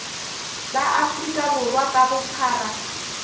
ba afrika borwa ka bophara